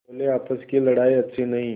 बोलेआपस की लड़ाई अच्छी नहीं